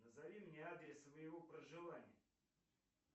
назови мне адрес своего проживания